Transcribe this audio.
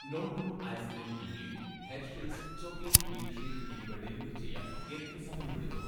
നോട്ടോ ice cream ഇംലി, Hershey's chocolate milk shake എന്നിവ deliver ചെയ്യാൻ എത്ര സമയമെടുക്കും